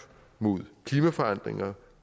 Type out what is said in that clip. mod klimaforandringer